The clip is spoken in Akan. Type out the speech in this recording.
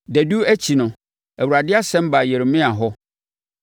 Dadu akyi no, Awurade asɛm baa Yeremia hɔ.